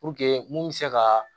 mun bɛ se ka